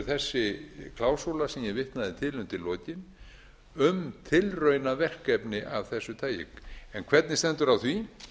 þessi klásúla sem ég vitnaði til undir lokin um tilraunaverkefni af þessu tagi en hvernig stendur á því